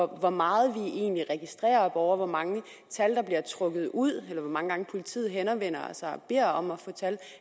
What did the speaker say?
hvor meget vi egentlig registrerer borgere og hvor mange tal der bliver trukket ud eller hvor mange gange politiet henvender sig og beder om at få tal